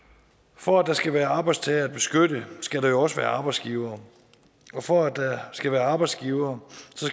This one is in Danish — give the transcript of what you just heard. for at der skal være arbejdstagere at beskytte skal der jo også være arbejdsgivere og for at der skal være arbejdsgivere